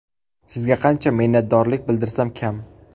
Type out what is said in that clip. Sizga qancha minnatdorlik bildirsam kam!